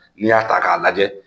N'i y'a ta ka lajɛ